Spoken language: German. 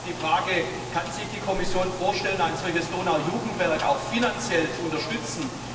Da stellt sich die Frage Kann sich die Kommission vorstellen, ein solches Donau Jugendwerk auch finanziell zu unterstützen?